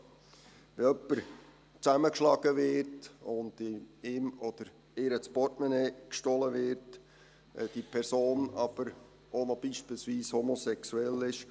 Wenn jemand zusammengeschlagen wird und ihm oder ihr das Portemonnaie gestohlen wird, wenn diese Person aber beispielsweise auch noch homosexuell ist: